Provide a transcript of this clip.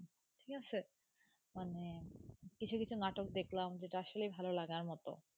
ঠিক আছে মানে কিছু কিছু নাটক দেখলাম, যেটা আসলে ভালো লাগার মত,